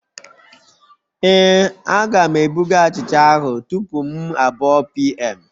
Ee, Aga'm ebuga achicha ahụ tupu m abụọ pm